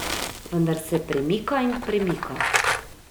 Vendar se premika in premika.